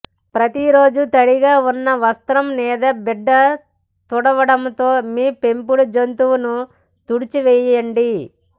ప్రతి రోజు తడిగా ఉన్న వస్త్రం లేదా బిడ్డ తుడవడంతో మీ పెంపుడు జంతువును తుడిచివేయండి